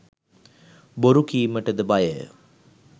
බොරු කීමටද බයය